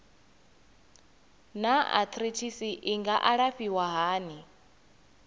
naa arthritis i nga alafhiwa hani